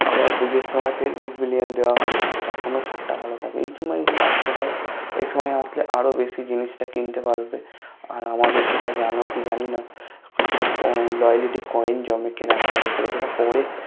আবার পুজোর সময় ফির Big Billion দেয়া হবে তখন ও ছাড় টা ভালো থাকে এই সময় গুলো আসতে পারো এই সময় আসলে আরো বেশি জিনিসটা কিনতে পারবে আর আমাদের যেটা জানো কি জানিনা একটু ক Loyality Coin জমে কেনাকাটার উপরে যেটা পরে